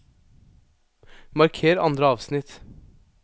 Marker andre avsnitt